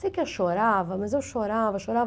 Sei que eu chorava, mas eu chorava, chorava.